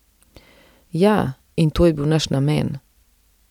Ja, in to je bil naš namen.